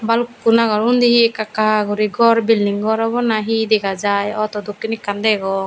bhalukkun agon undi he ekka ekka guri ghor building ghor obo na he dega jiy auto dokkin ekkan degong.